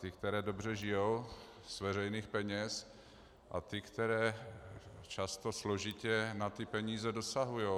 Ty, které dobře žijí z veřejných peněz, a ty, které často složitě na ty peníze dosahují.